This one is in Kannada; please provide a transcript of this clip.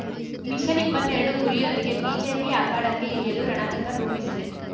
ಮಿಷನ್ ಇಪ್ಪತ್ತೆರಡು ಗುರಿಯೊಂದಿಗೆ ಬಿಜೆಪಿ ಅಖಾಡಕ್ಕೆ ಇಳಿಯಲು ರಣತಂತ್ರ ರೂಪಿಸಿದೆ